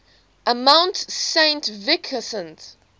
mount saint vincent